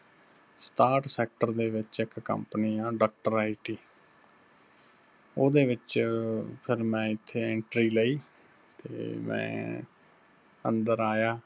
ਸਤਾਹਟ sector ਦੇ ਵਿੱਚ ਇੱਕ company ਆ Dr. IT, ਉਹਦੇ ਵਿੱਚ ਫਿਰ ਮੈਂ ਇੱਥੇ entry ਲਈ ਤੇ ਮੈਂ ਅੰਦਰ ਆਇਆ